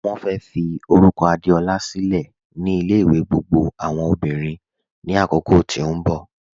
Wọ́n fẹ́ fí orúkọ̀ Adeọla sílẹ̀ ni ilẹ̀-ìwẹ̀ gbogbo awọn ọmọ́bìrín ni àkókò tí n bọ